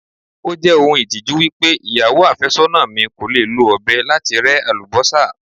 Ó jẹ́ ohun ìtìjú wípé ìyàwó àfẹ́sọ́nà mi kò lè lo ọ̀bẹ láti rẹ́ Àlùbọ́sà.